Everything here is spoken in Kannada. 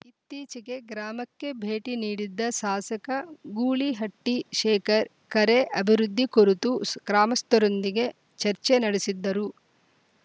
ಇತ್ತೀಚಿಗೆ ಗ್ರಾಮಕ್ಕೆ ಭೇಟಿ ನೀಡಿದ್ದ ಶಾಸಕ ಗೂಳಿಹಟ್ಟಿಶೇಖರ್‌ ಕೆರೆ ಅಭಿವೃದ್ಧಿ ಕುರಿತು ಶು ಗ್ರಾಮಸ್ಥರೊಂದಿಗೆ ಚರ್ಚೆ ನಡೆಸಿದ್ದರು